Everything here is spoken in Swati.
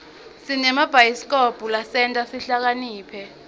sinemabhayisikobho lasenta sihlakaniphe